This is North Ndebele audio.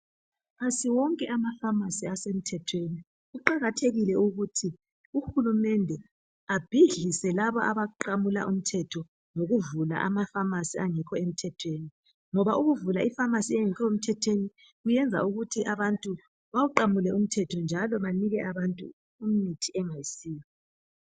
Asiwonke ama pharmacy asemthethweni, kuqakathekile ukuthi uhulumende abhidlilze labo abaqamula umthetho ngokuvula ama pharmacy angekho emthethweni, ngoba ukuvula ipharmacy engekho emthethweni kuyenza ukuthi abantu bawuqamule umthetho njalo banike abantu imithi engayisiyo